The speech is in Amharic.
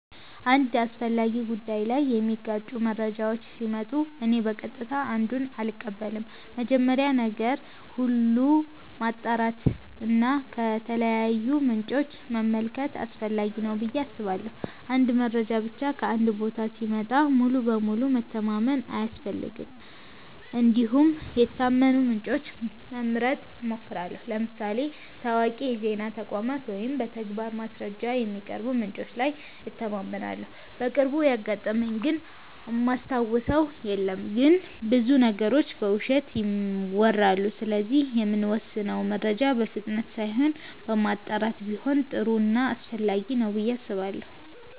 አንድ አስፈላጊ ጉዳይ ላይ የሚጋጩ መረጃዎች ሲመጡ እኔ በቀጥታ አንዱን አልቀበልም። መጀመሪያ ነገር ሁሉ ማጣራት እና ከተለያዩ ምንጮች መመልከት አስፈላጊ ነው ብዬ አስባለሁ። አንድ መረጃ ብቻ ከአንድ ቦታ ሲመጣ ሙሉ በሙሉ መተማመን አያስፈልግም እንዲሁም የታመኑ ምንጮችን መምረጥ እሞክራለሁ ለምሳሌ ታዋቂ የዜና ተቋማት ወይም በተግባር ማስረጃ የሚያቀርቡ ምንጮች ላይ እተማመናለሁ። በቅርቡ ያጋጠመኝ ግን እማስታውሰው የለም ግን ብዙ ነገሮች በውሸት ይወራሉ ስለዚህ የምንወስነው መረጃ በፍጥነት ሳይሆን በማጣራት ቢሆን ጥሩ ና አስፈላጊ ነው ብዬ አስባለሁ።